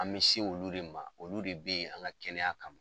An bɛ se olu de ma olu de bɛ yen an ka kɛnɛya kama.